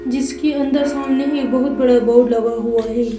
जिसके अंदर सामने एक बहुत बड़ा बोर्ड लगा हुआ है।